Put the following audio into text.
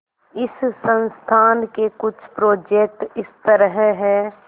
इस संस्थान के कुछ प्रोजेक्ट इस तरह हैंः